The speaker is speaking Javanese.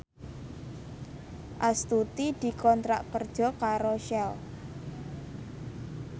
Astuti dikontrak kerja karo Shell